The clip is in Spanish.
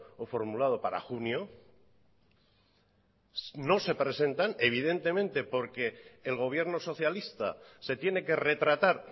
o formulado para junio no se presentan evidentemente porque el gobierno socialista se tiene que retratar